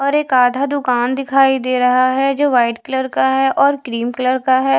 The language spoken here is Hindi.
और एक आधा दूकान दिखाई दे रहा है जो वाइट कलर का है और क्रीम कलर का है।